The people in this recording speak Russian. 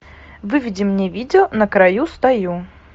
выведи мне видео на краю стою